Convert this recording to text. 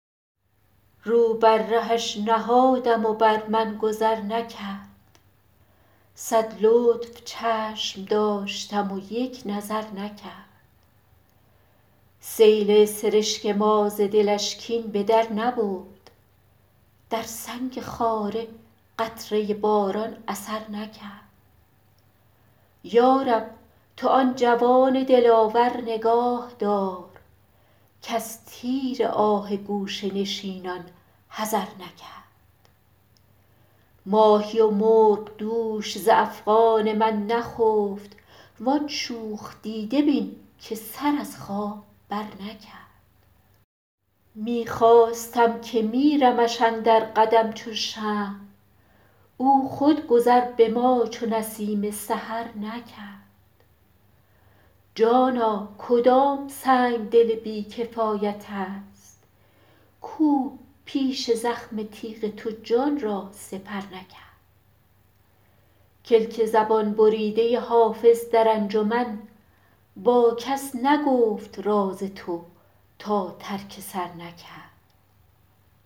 رو بر رهش نهادم و بر من گذر نکرد صد لطف چشم داشتم و یک نظر نکرد سیل سرشک ما ز دلش کین به در نبرد در سنگ خاره قطره باران اثر نکرد یا رب تو آن جوان دلاور نگاه دار کز تیر آه گوشه نشینان حذر نکرد ماهی و مرغ دوش ز افغان من نخفت وان شوخ دیده بین که سر از خواب برنکرد می خواستم که میرمش اندر قدم چو شمع او خود گذر به ما چو نسیم سحر نکرد جانا کدام سنگدل بی کفایت است کاو پیش زخم تیغ تو جان را سپر نکرد کلک زبان بریده حافظ در انجمن با کس نگفت راز تو تا ترک سر نکرد